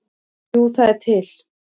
Jú, það er til.